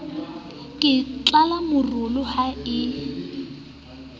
ke tlala morolo ha e